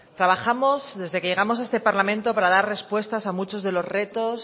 trabajamos desde que llegamos a este parlamento para dar respuestas a muchos de los retos